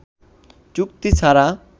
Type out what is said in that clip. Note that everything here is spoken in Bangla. চুক্তি ছাড়া